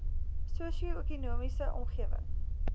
sosio ekonomiese omgewing